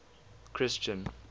christian